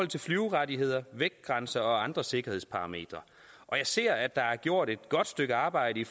til flyverettigheder vægtgrænser og andre sikkerhedsparametre jeg ser at der er gjort et godt stykke arbejde i